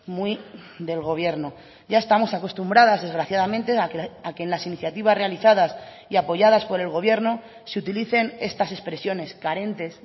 muy del gobierno ya estamos acostumbradas desgraciadamente a que en las iniciativas realizadas y apoyadas por el gobierno se utilicen estas expresiones carentes